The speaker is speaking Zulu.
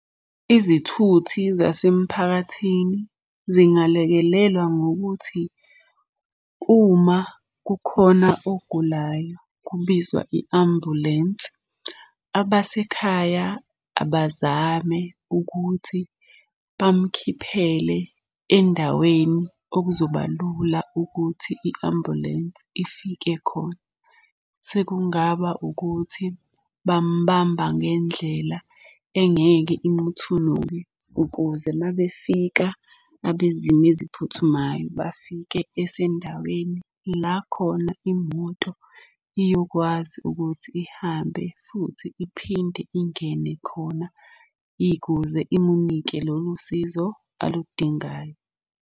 Izithuthi zasemphakathini zingalekelelwa ngokuthi uma kukhona ogulayo kubizwa i-ambulensi, abasekhaya abazame ukuthi bamkhiphele endaweni okuzoba lula ukuthi i-ambulensi ifike khona. Sekungaba ukuthi bamubamba ngendlela engeke imuthunuke, ukuze uma befika abezimo eziphuthumayo, bafike esendaweni la khona imoto iyokwazi ukuthi ihambe futhi iphinde ingene khona ikuze imunike lolu sizo aludingayo.